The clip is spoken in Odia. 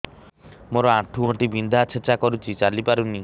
ମୋର ଆଣ୍ଠୁ ଗଣ୍ଠି ବିନ୍ଧା ଛେଚା କରୁଛି ଚାଲି ପାରୁନି